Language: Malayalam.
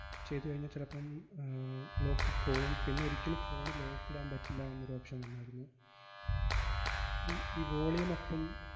ചെയ്തുകഴിഞ്ഞാ ചെലപ്പം ആഹ് lock പോവും. പിന്നൊരിക്കലും phone lock ഇടാൻ പറ്റില്ല എന്നൊരു option വന്നാരുന്ന്. ഈ ഈ volume up ഉം